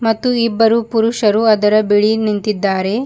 ಮತ್ತು ಇಬ್ಬರು ಪುರುಷರು ಅದರ ಬಿಳಿ ನಿಂತಿದ್ದಾರೆ.